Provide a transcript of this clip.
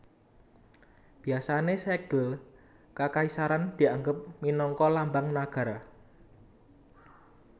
Biasané Sègel Kakaisaran dianggep minangka Lambang Nagara